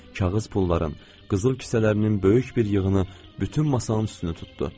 Kağız pulların, qızıl küsələrinin böyük bir yığını bütün masanın üstünü tutdu.